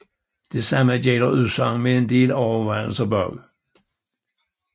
Det samme gælder udsagn med en del overvejelser bag